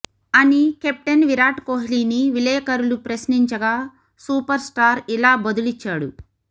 అని కెప్టెన్ విరాట్ కోహ్లిని విలేకరులు ప్రశ్నించగా సూపర్స్టార్ ఇలా బదులిచ్చాడు